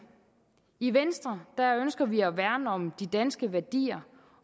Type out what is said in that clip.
i venstre ønsker vi at værne om de danske værdier